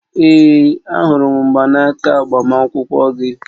Ee, ahụrụ m mgbanaka agbamakwụkwọ gị